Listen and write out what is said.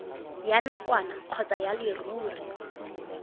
ya nakwana kgotsa ya leruri